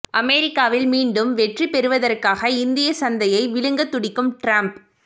அமெரிக்காவில் மீண்டும் வெற்றி பெறுவதற்காக இந்திய சந்தையை விழுங்க துடிக்கும் டிரம்ப்